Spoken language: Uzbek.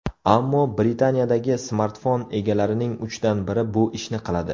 Ammo Britaniyadagi smartfon egalarining uchdan biri bu ishni qiladi.